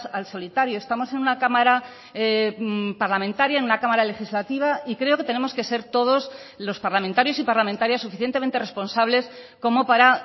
al solitario estamos en una cámara parlamentaria en una cámara legislativa y creo que tenemos que ser todos los parlamentarios y parlamentarias suficientemente responsables como para